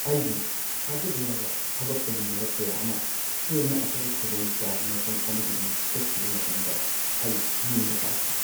ꯑꯩꯒꯤ ꯊꯥꯖꯕ ꯌꯥꯕ ꯊꯕꯛ ꯇꯧꯃꯤꯟꯅꯕ ꯀꯌꯥ ꯑꯃ ꯍꯦꯟꯅ ꯑꯐꯕ ꯈꯨꯗꯣꯡꯆꯥꯕ ꯃꯐꯝ ꯑꯃꯒꯤꯗꯃꯛ ꯆꯠꯈꯤꯕ ꯃꯇꯝꯗ ꯑꯩ ꯅꯤꯡꯕ ꯀꯥꯏꯈꯤ ꯫